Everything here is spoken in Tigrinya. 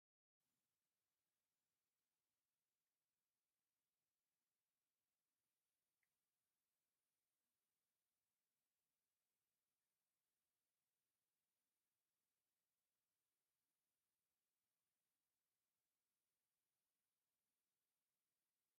ኣርማ ዋንጫ ኣፍሪቃ 2025። እቲ ምስሊ ቀይሕ ሕብሪ ዘለዎ ኮይኑ ዲዛይን ናይቲ ኣርማ ድማ ዋንጫ ዘርኢ እዩ። ብሓፈሻ እቲ ምስሊ ናይ ክብርን ስፖርታዊ ውድድርን ስምዒት ዘመሓላልፍ እዩ።